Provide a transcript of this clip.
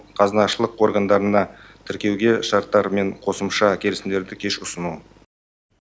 қазынашылық органдарына тіркеуге шарттар мен қосымша келісімдерді кеш ұсыну